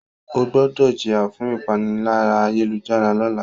O gbọdọ jiya fun ipanilaya-ayelujara lọla!